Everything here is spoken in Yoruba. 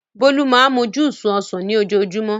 Bólú máa ń mú júúsì ọsàn ni ojoojúmọ́.